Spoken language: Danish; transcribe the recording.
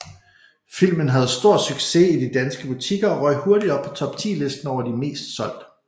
Filmen havde stor sucess i de danske butikker og røg hurtigt op på Top 10 listen over de mest solgte